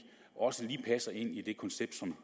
også lige passer ind i det koncept som